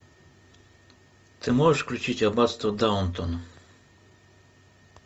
ты можешь включить аббатство даунтон